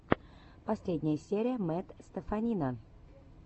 последняя серия мэтт стеффанина